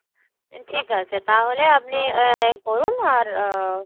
ঠিকাছে তাহলে আপনি আ~ করুন আর আ~